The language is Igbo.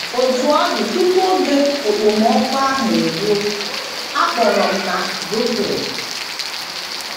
Otú ọ dị, tupu oge okpomọkụ ahụ eruo, a kpọrọ m na Brooklyn.